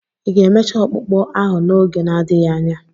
Ị ga-emecha ọkpụkpụ ahụ n'oge na-adịghị anya?